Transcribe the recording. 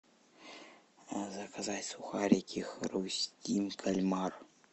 заказать сухарики хрустим кальмар